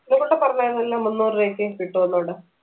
ഉണ്ണിക്കുട്ടൻ പറഞ്ഞായിരുന്നല്ലോ മുന്നൂറ് രൂപയ്ക്ക് കിട്ടൂന്ന് ഇവിടെ